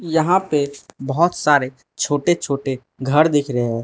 यहां पे बहुत सारे छोटे छोटे घर दिख रहे है।